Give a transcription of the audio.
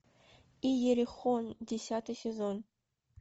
иерихон десятый сезон